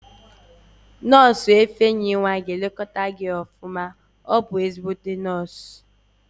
Nọọsụ ifeyinwa ga-elekọta gị nke ọma, ọ bụ ezigbo nọọsụ